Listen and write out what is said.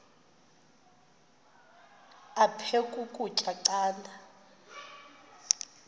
aphek ukutya canda